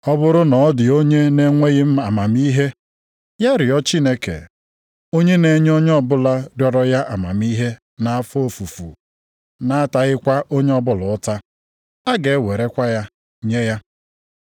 Ọ bụrụ na ọ dị onye na-enweghị amamihe, ya rịọ Chineke, onye na-enye onye ọbụla rịọrọ ya amamihe nʼafọ ofufu na-ataghịkwa onye ọbụla ụta, a ga-ewerekwa ya nye ya.